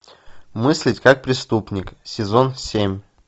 мыслить как преступник сезон семь